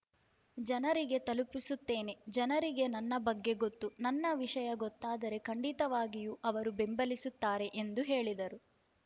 ಜನರಿಗೆ ತಲುಪಿಸುತ್ತೇನೆ ಜನರಿಗೆ ನನ್ನ ಬಗ್ಗೆ ಗೊತ್ತು ನನ್ನ ವಿಷಯ ಗೊತ್ತಾದರೆ ಖಂಡಿತವಾಗಿಯೂ ಅವರು ಬೆಂಬಲಿಸುತ್ತಾರೆ ಎಂದು ಹೇಳಿದರು